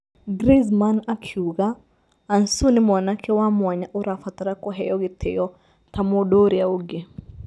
Grienzman akiuga: Ansu nĩ mwanake wa mwanya ũrabatara kũheo gĩtĩo ta mũndũ ũrĩa ũngĩ